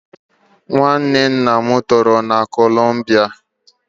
Nwa nwanne nna m toro na kolombia